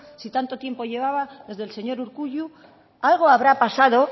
si tanto tiempo llevaba desde el señor urkullu algo habrá pasado